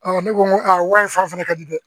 ne ko n ko wari in fara fana ka di dɛ